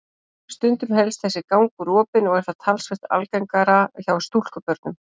Stundum helst þessi gangur opinn og er það talsvert algengara hjá stúlkubörnum.